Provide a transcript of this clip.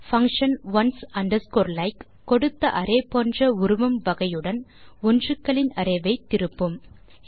function ones underscores like கொடுத்த array போன்ற உருவம் வகையுடன் ஒன்றுகளின் அரே ஐ திருப்பும்